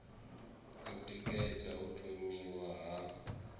u tikedza u thomiwa ha